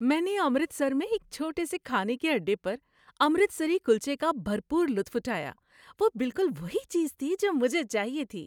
میں نے امرتسر میں ایک چھوٹے سے کھانے کے اڈے پر امرتسری کلچے کا بھرپور لطف اٹھایا۔ وہ بالکل وہی چیز تھی جو مجھے چاہیے تھی۔